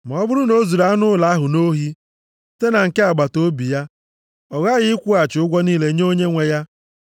Ma ọ bụrụ na o zuru anụ ụlọ ahụ nʼohi site na nke agbataobi ya, ọ ghaghị ịkwụghachi ụgwọ niile nye onyenwe ya.